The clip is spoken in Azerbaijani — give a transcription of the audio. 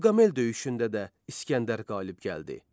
Qavqamel döyüşündə də İsgəndər qalib gəldi.